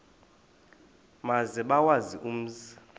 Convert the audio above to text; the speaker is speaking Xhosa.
maze bawazi umzi